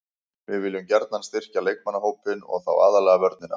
Við viljum gjarnan styrkja leikmannahópinn og þá aðallega vörnina.